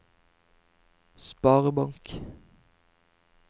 sparebank